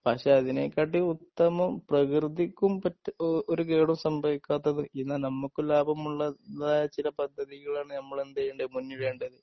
പക്ഷേ അതിനെ കാട്ടി ഉത്തമം പ്രകൃതിക്കും പറ്റും ഒരു കേടും സംഭവിക്കാത്തത് എന്നാൽ നമുക്ക് ലാഭമുള്ളത് തായ ചില പദ്ധതികളാണ് നമ്മള് എന്ത് ചെയ്യേണ്ടത് മുന്നിടെണ്ടത്